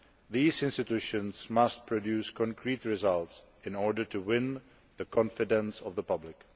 These institutions must produce concrete results in order to win the confidence of the public.